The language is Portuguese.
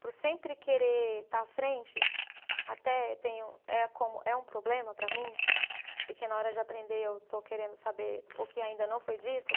Por sempre querer estar à frente, até tenho é como, é um problema para mim, porque na hora de aprender eu estou querendo saber o que ainda não foi dito.